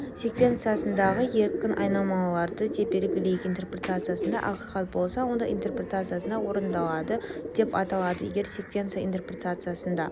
секвенциясындағы еркін айнымалыларды деп белгілейік интерпритациясында ақиқат болса онда интерпретациясында орындалады деп аталады егер секвенциясы интерпретациясында